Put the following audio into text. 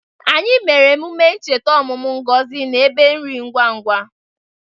Anyị mere emume ncheta ọmụmụ Ngozi na ebe nri ngwa ngwa.